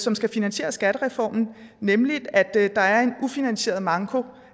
som skal finansiere skattereformen nemlig at der er en ufinansieret manko